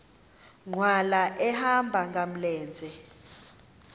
nkqwala ehamba ngamlenze